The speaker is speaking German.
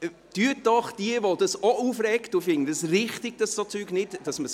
Jene, die sich auch darüber aufregen – und ich finde es richtig, dass man Essen nicht wegwirft: